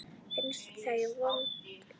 Finnst þau vond.